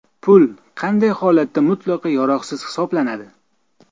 Pul qanday holatda mutlaqo yaroqsiz hisoblanadi?